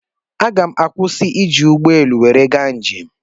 Aga m akwụsi ị ji ụgbọelu nwere ga njem